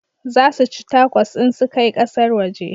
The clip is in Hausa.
Za su ci takos in su kai kasar waje